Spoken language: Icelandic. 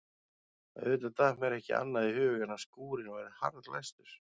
Auðvitað datt mér ekki annað í hug en að skúrinn væri harðlæstur.